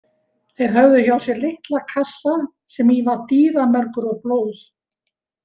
Þeir höfðu hjá sér litla kassa sem í var dýramergur og blóð.